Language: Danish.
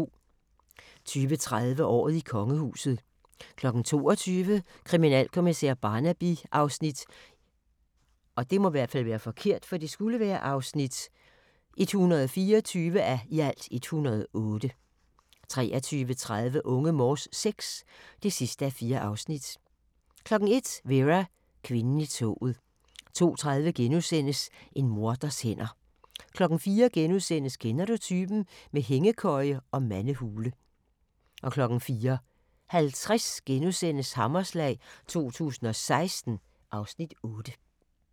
20:30: Året i kongehuset 22:00: Kriminalkommissær Barnaby (124:108) 23:30: Unge Morse VI (4:4) 01:00: Vera: Kvinden i toget 02:30: En morders hænder * 04:00: Kender du typen? - med hængekøje og mandehule * 04:50: Hammerslag 2016 (Afs. 8)*